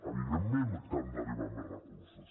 evidentment que han d’arribar més recursos